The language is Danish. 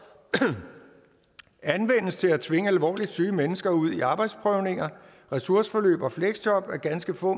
anvendes til at tvinge alvorligt syge mennesker ud i arbejdsprøvninger ressourceforløb og fleksjob af ganske få